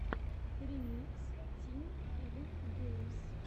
ремикс тим филин геймс